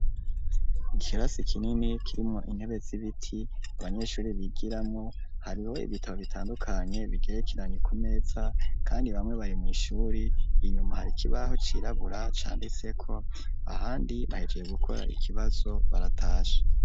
Ikirasi kinini kirimwo intebe z'ibiti abanyeshuri bigiramwo hariho ibitabo bitandukanye bigerekeranye ku meza kandi bamwe bari mw'ishuri inyuma hari ikibaho cirabura candiseko ahandi bahejeje gukora ikibazo baratashe.